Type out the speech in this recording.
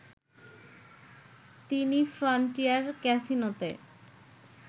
তিনি ফ্রনটিয়ার ক্যাসিনোতে